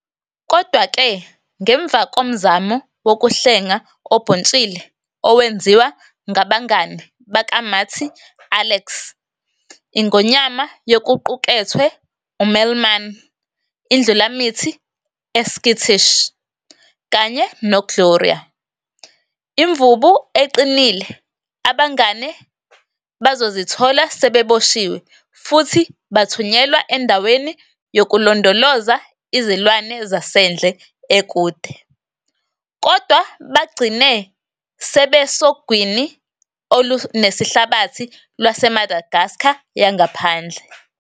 Kodwa-ke, ngemva komzamo wokuhlenga obhuntshile owenziwa ngabangane bakaMarty-Alex, ingonyama yokuqukethwe. UMelman, indlulamithi e-skittish, kanye no-Gloria, imvubu eqinile-abangane bazozithola sebeboshiwe futhi bathunyelwa endaweni yokulondoloza izilwane zasendle ekude, kodwa bagcine sebesogwini olunesihlabathi lwase-Madagascar yangaphandle.